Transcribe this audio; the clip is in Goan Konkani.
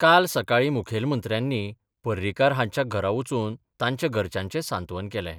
काल सकाळीं मुखेलमंत्र्यानी पर्रीकार हांच्या घरा वचून तांच्या घरच्यांचें सांत्वन केलें.